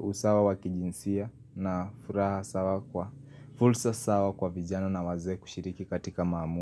usawa wa kijinsia na furaha sawa kwa fulsa sawa kwa vijana na wazee kushiriki katika mahamu.